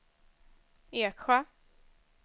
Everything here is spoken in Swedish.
Eksjö